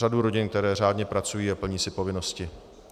Řadu rodin, které řádně pracují a plní si povinnosti.